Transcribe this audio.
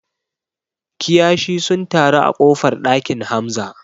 Kiyashi sun taru a ƙofar ɗakin Hamza